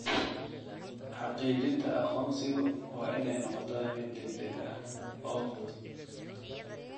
Xaqiijinta aqoonsigu waa inay noqotaa mid degdeg ah oo fudud.